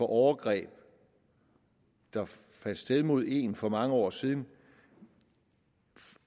overgreb der fandt sted mod en for mange år siden